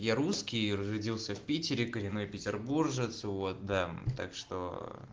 я русский родился в питере коренной петербуржец вот да так что